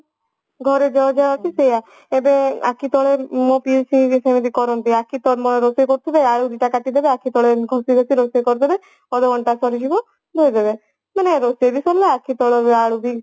ଘରେ ଯାହା ଯାହା ଅଛି ସେଇଆ ସୋଉଠୁ ଆଖି ତଳେ ମୋ ପିଉସୀ ଘରିକା ସେମିତି କରନ୍ତି ଆଖି ତମ ରୋଷେଇ କରୁଥିବେ ଆଳୁ ଦିଟା କାଟିଦେବେ ଆଖିତଳେ ଏମତି ଘଷି ଘଷି ରୋଷେଇ କରିଦେବେ ସରିଯିବ ଧୋଇଦେବେ ମାନେ ରୋଷେଇ ବି ସରିଲା ଆଖିତଳ ଆଳୁ ବି